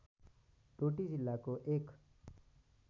डोटी जिल्लाको एक